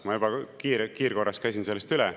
Ma juba kiirkorras käisin sellest üle.